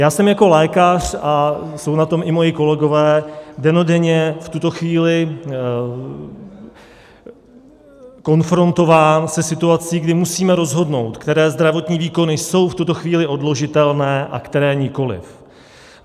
Já jsem jako lékař, a jsou na tom i moji kolegové, dennodenně v tuto chvíli konfrontován se situací, kdy musíme rozhodnout, které zdravotní výkony jsou v tuto chvíli odložitelné a které nikoli.